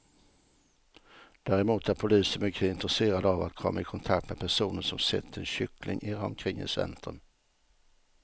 Däremot är polisen mycket intresserad av att komma i kontakt med personer som sett en kyckling irra omkring i centrum.